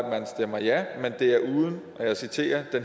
stemme ja og jeg citerer det er